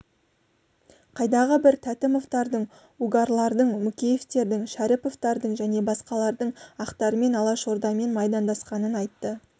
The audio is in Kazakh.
қайдағы бір тәтімовтардың угарлардың мүкеевтердің шәріповтардың және басқалардың ақтармен алашордамен майдандасқанын айтты